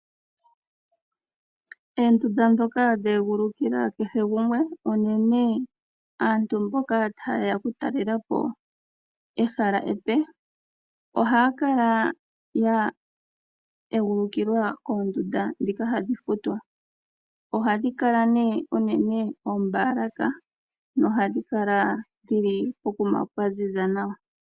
Oondunda dhoka dha egulukila kehe gumwe uunene aantu mboka ta yeya oku talelapo ehala epe, ohaya kala ya egulukilwa koondunda dhoka hadhi futilwa. Ohadhi kala ne uunene oombalaka na ohadhi kala pokuma pwa ziza nawa.